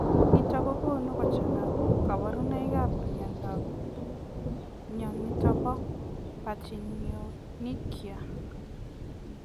Nitok kokonuu kochangaa kabarunoik ap mionitok po pachyonychia